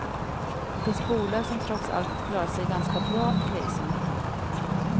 Det finns bolag som trots allt klarat sig ganska bra i krisen.